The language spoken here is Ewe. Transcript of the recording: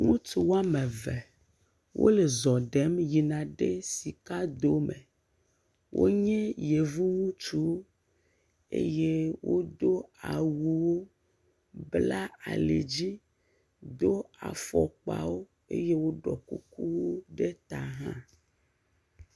Ŋutsu am eve, wole zɔ ɖem yina ɖe sikadome. EWonye Yevu ŋutsuwo eye wodo awuwo, bla alidzi, do afɔkpawo eye woɖɔ kukuwo ɖe ta hã.